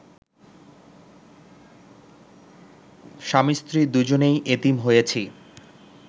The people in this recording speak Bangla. স্বামী-স্ত্রী দুইজনেই এতিম হইছি